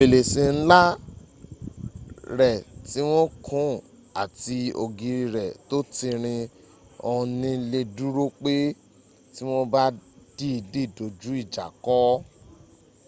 ferese nla re ti won kun ati ogiri re to tirin on ni le duro pe ti won ba diidi doju ija ko